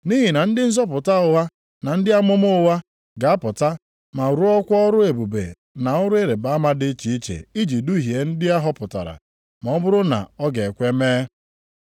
Nʼihi na ndị nzọpụta ụgha na ndị amụma ụgha, ga-apụta ma rụọkwa ọrụ ebube na ọrụ ịrịbama dị iche iche iji duhie ndị a họpụtara ma ọ bụrụ na ọ ga-ekwe mee.